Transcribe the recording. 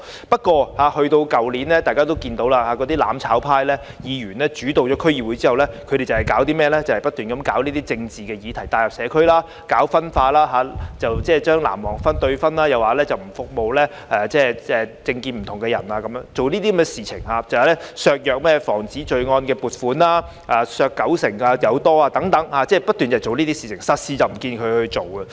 不過，去年——大家都看到——當"攬炒派"議員主導了區議會後，他們只是不斷將政治議題帶入社區，搞分化，即將"藍黃"對分，又說不服務政見不同的人，又削減有關宣傳防止罪案的撥款超過九成等，他們不斷做這些事情，實事卻沒有做。